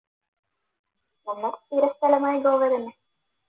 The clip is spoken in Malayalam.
ഒന്ന് തീരസ്ഥലമായ ഗോവ തന്നെ